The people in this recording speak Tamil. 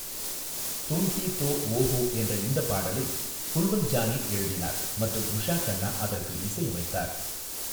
தும் ஹி தோ வோ ஹோ' என்ற இந்தப் பாடலை குல்வந்த் ஜானி எழுதினார் மற்றும் உஷா கன்னா அதற்கு இசையமைத்தார்.